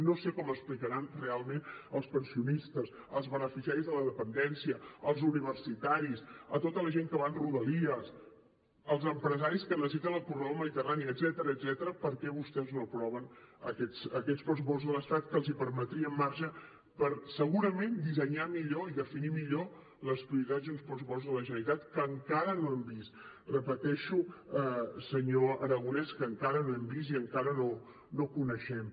no sé com explicaran realment als pensionistes als beneficiaris de la dependència als universitaris a tota la gent que va en rodalies als empresaris que necessiten el corredor mediterrani etcètera per què vostès no aproven aquests pressupostos de l’estat que els permetrien marge per segurament dissenyar millor i definir millor les prioritats i uns pressupostos de la generalitat que encara no hem vist repeteixo senyor aragonès que encara no hem vist i encara no coneixem